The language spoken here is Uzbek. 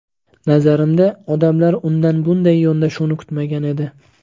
Nazarimda, odamlar undan bunday yondashuvni kutmagan edi.